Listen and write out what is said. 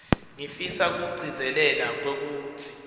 ngifisa kugcizelela kwekutsi